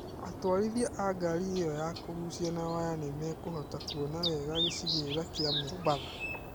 Atwarithia a ngaari ĩyo ya kũgucio na waya nĩ mekũhota kuona wega gĩcigĩrĩra kĩa Mombatha.